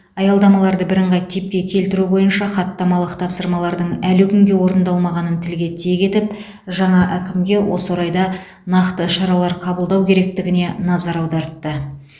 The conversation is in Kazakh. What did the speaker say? аялдамаларды бірыңғай типке келтіру бойынша хаттамалық тапсырмалардың әлі күнге орындалмағанын тілге тиек етіп жаңа әкімге осы орайда нақты шаралар қабылдау керектігіне назар аудартты